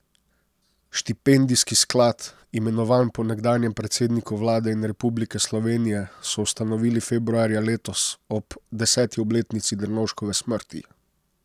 Štipendijski sklad, imenovan po nekdanjem predsedniku vlade in republike Slovenije, so ustanovili februarja letos, ob deseti obletnici Drnovškove smrti.